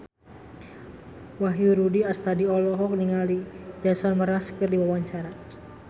Wahyu Rudi Astadi olohok ningali Jason Mraz keur diwawancara